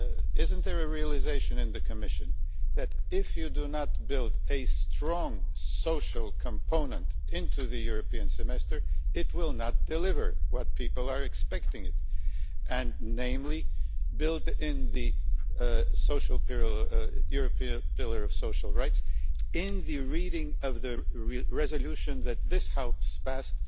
Is there not a realisation in the Commission that if you do not build a strong social component into the European Semester, it will not deliver what people are expecting? Namely build in the European pillar of social rights in the reading of the resolution that this House passed